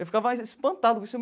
Eu ficava espantado com isso.